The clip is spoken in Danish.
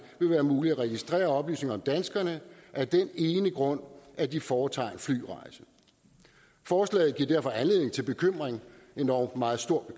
vil være muligt at registrere oplysninger om danskerne af den ene grund at de foretager en flyrejse forslaget giver derfor anledning til bekymring endog meget stor